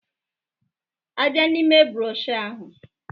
A bịa n'ime broshuọ ahụ